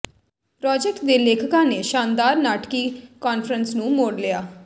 project ਦੇ ਲੇਖਕਾਂ ਨੇ ਸ਼ਾਨਦਾਰ ਨਾਟਕੀ ਕਾਨਫਰੰਸ ਨੂੰ ਮੋੜ ਲਿਆ